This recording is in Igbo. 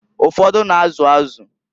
Ụfọdụ na-azụ azụ.